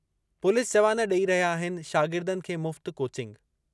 Police जवान ॾेई रहिया आहिनि शागिर्दनि खे मुफ़्त कोचिंग।